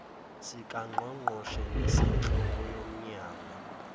sikangqongqoshe nesenhloko yomnyango